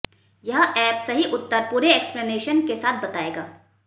यह ऐप सही उत्तर पूरे एक्सप्लेनेशन के साथ बताएगा